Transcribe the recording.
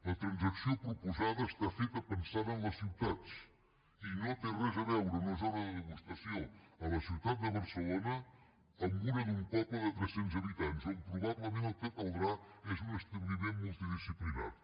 la transacció proposada està feta pensant en les ciutats i no té res a veure una zona de degustació a la ciutat de barcelona amb una d’un poble de tres cents habitants on probablement el que caldrà és un establiment multidisciplinari